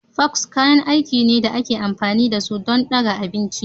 Forks kayan aiki ne da ake amfani da su don ɗaga abinci